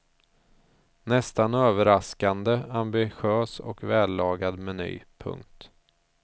Nästan överraskande ambitös och vällagad meny. punkt